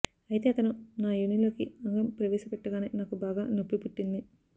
అయితే అతను నా యోనిలోకి అంగం ప్రవేశపెట్టగానే నాకు బాగా నొప్పి పుట్టింది